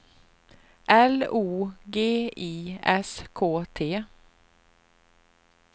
L O G I S K T